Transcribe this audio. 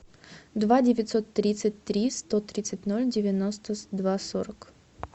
два девятьсот тридцать три сто тридцать ноль девяносто два сорок